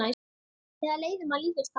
Ekki leiðum að líkjast þar.